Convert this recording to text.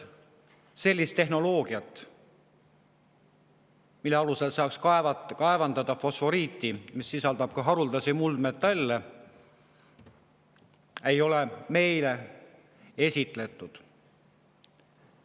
Sellist tehnoloogiat, mida kasutades saaks kaevandada fosforiiti, mis sisaldab ka haruldasi muldmetalle, ei ole meile esitletud.